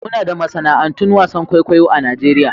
Muna da masana'antun wasan kwaikwayo a Najeriya.